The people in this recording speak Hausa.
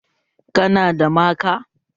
Ka na da maka?